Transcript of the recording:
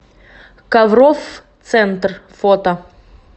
коврофф центр фото